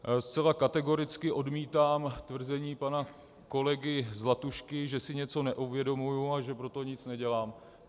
Zcela kategoricky odmítám tvrzení pana kolegy Zlatušky, že si něco neuvědomuji a že pro to nic nedělám.